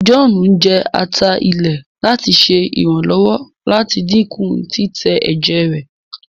John jẹ atá ilé láti ṣe iranlọwọ láti dínkù titẹ èjè rẹ